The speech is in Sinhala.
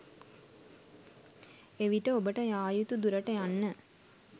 එවිට ඔබට යා යුතු දුරට යන්න